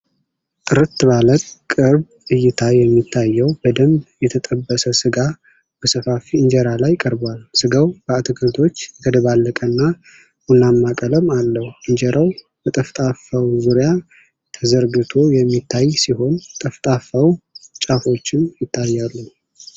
ጥርት ባለ ቅርብ እይታ የሚታየው በደንብ የተጠበሰ ሥጋ በሰፋፊ እንጀራ ላይ ቀርቧል። ሥጋው በአትክልቶች የተደባለቀና ቡናማ ቀለም አለው። እንጀራው በጠፍጣፋው ዙሪያ ተዘርግፎ የሚታይ ሲሆን፣ የጠፍጣፋው ጫፎችም ይታያሉ።